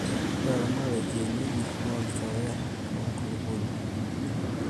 ore eramatare e kienyeji naa olchore lenkulupuoni